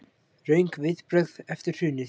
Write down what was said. Röng viðbrögð eftir hrunið